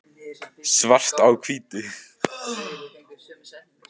svart á hvítu